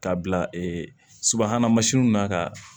K'a bila e subahana mansinw na ka